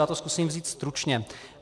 Já to zkusím vzít stručně.